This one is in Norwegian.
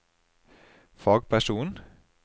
fagperson